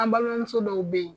An balimamuso dɔw be yen .